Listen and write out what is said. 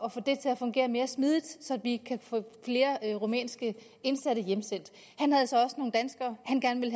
at få det til at fungere mere smidigt så vi kan få flere rumænske indsatte hjemsendt han har så også nogle danskere han gerne vil